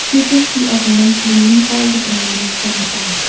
we can see a women cleaning all the dry leaves from the park.